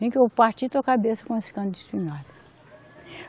Vem que eu vou partir tua cabeça com esse cano de espingarda.